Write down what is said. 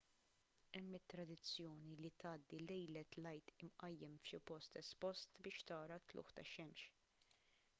hemm it-tradizzjoni li tgħaddi lejlet l-għid imqajjem f'xi post espost biex tara t-tlugħ tax-xemx